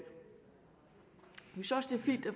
fint at